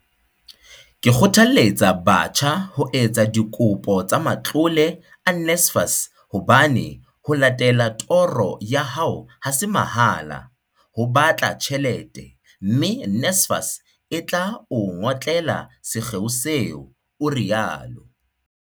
Ke kgothaletsa batjha ho etsa dikopo tsa matlole a NSFAS hobane ho latella toro ya hao ha se mahala, ho batla tjhelete, mme NSFAS e tla o ngotlela sekgeo seo, o rialo.